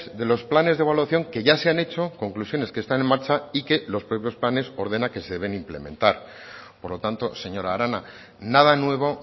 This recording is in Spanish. de los planes de evaluación que ya se han hecho conclusiones que están en marcha y que los propios planes ordena que se deben implementar por lo tanto señora arana nada nuevo